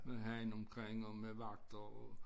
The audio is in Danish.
Med hegn omkring og med vagter og